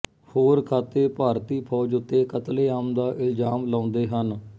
ਹੋਰ ਖਾਤੇ ਭਾਰਤੀ ਫੌਜ ਉੱਤੇ ਕਤਲੇਆਮ ਦਾ ਇਲਜ਼ਾਮ ਲਾਉਂਦੇ ਹਨ